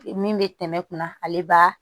Min bɛ tɛmɛ kunna ale b'a